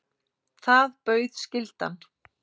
Það bauð skyldan.